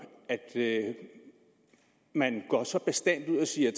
at man går så bastant ud og siger